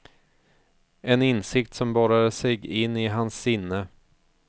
En insikt som borrade sig in i hans sinne.